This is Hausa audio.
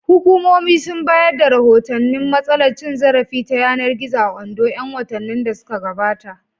Hukumomi sun bayar da rahotannin matsalar cin zarafi ta yanar gizo a Ondo ƴan watannin da suka gabata.